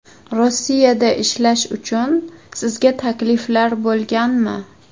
Rossiyada ishlash uchun sizga takliflar bo‘lganmi?